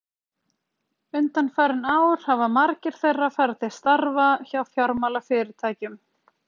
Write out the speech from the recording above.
Undanfarin ár hafa margir þeirra farið til starfa hjá fjármálafyrirtækjum.